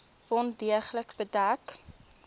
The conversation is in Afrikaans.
wond deeglik bedek